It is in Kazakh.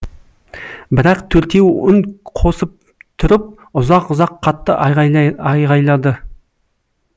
бірақ төртеуі үн қосып тұрып ұзақ ұзақ қатты айғайлады